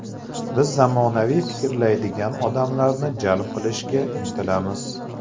Biz zamonaviy fikrlaydigan odamlarni jalb qilishga intilamiz.